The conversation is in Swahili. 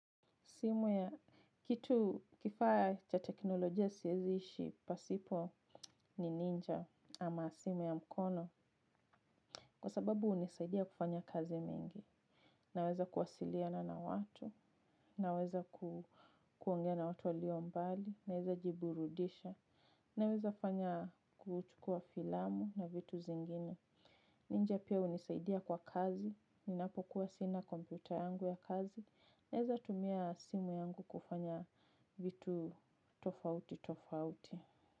Simu ya kitu kifaya cha teknolojia sieziishi pasipo ni ninja ama simu ya mkono. Kwa sababu hunisaidia kufanya kazi mingi. Naweza kuwasiliana na watu. Naweza kuongea na watu walio mbali. Naweza jiburudisha, naweza fanya kuchukua filamu na vitu zingine. Ninja pia hunisaidia kwa kazi. Ninapo kuwa sina kompyuta yangu ya kazi. Naweza tumia simu yangu kufanya vitu tofauti tofauti.